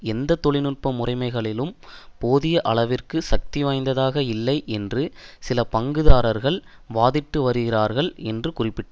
எந்த தொழில் நுட்ப முறைமைகளும் போதியளவிற்கு சக்தி வாய்ந்ததாக இல்லை என்று சில பங்குதாரர்கள் வாதிட்டு வருகிறார்கள் என்று குறிப்பிட்டது